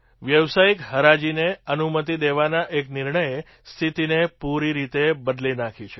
વ્યાવસાયિક હરાજીને અનુમતિ દેવાના એક નિર્ણયે સ્થિતિને પૂરી રીતે બદલી નાખી છે